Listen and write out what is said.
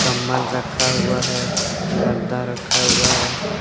कंबल रखा हुआ है गद्दा रखा हुआ है।